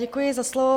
Děkuji za slovo.